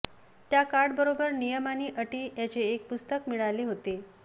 त्या कार्डबरोबर नियम आणि अटी यांचे एक पुस्तक मिळाले होते